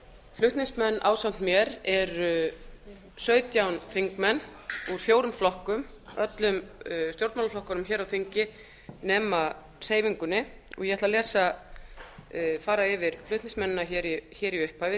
flutningsmenn ásamt mér eru sautján þingmenn úr fjórum flokkum öllum stjórnmálaflokkunum hér á þingi nema hreyfingunni og ég ætla að fara yfir flutningsmennina í upphafi